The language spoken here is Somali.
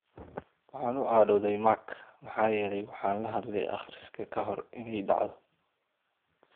"Waxaan u cadhooday Mark maxaa yeelay waxaan la hadlay akhriska ka hor in ay dhacdo."